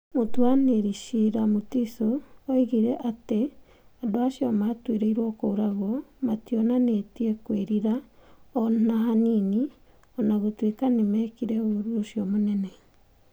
Mũtuanĩri cira Mutiso oigire atĩ andũ acio maatuĩrĩirũo kũũragwo mationanĩtie kwĩrira o na hanini o na gũtuĩka nĩ meekire ũũru ũcio mũnene.